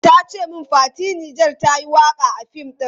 Ta ce min Fati Niger ta yi waka a fim ɗin.